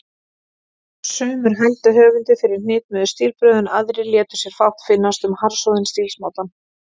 Sumir hældu höfundi fyrir hnitmiðuð stílbrögð, en aðrir létu sér fátt finnast um harðsoðinn stílsmátann.